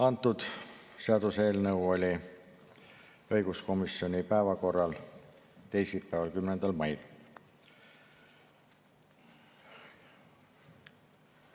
Antud seaduseelnõu oli õiguskomisjoni päevakorras teisipäeval, 10. mail.